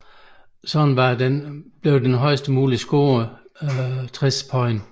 Dermed var den højest mulige score 60 point